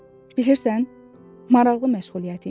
Bilirsən, maraqlı məşğuliyyət imiş.